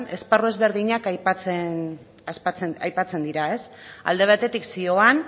esparru ezberdinak aipatzen dira alde batetik zioan